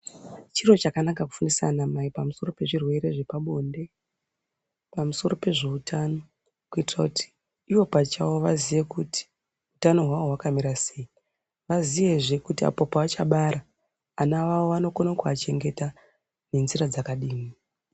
Chiro chakanaka kufundisa anamai pamusoro pezvirwere zvepabonde pamusoro pezveutano kuitira kuti ivo pachavo vaziye kuti utano hwawo hwakamira sei vaziye zve kuti apo paachabara vana vavo vanokona kuvachengeta ngenzira dzakadini.